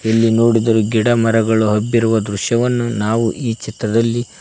ಇಲ್ಲಿ ನೋಡಿದರೆ ಗಿಡ ಮರಗಳು ಹಬ್ಬಿರುವ ದೃಶ್ಯವನ್ನು ನಾವು ಈ ಚಿತ್ರದಲ್ಲಿ--